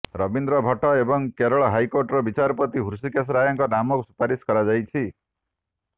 ରବୀନ୍ଦ୍ର ଭଟ୍ଟ ଏବଂ କେରଳ ହାଇକୋର୍ଟର ବିଚାରପତି ହୃଷିକେଶ ରାୟଙ୍କ ନାମ ସୁପାରିଶ କରାଯାଇଛି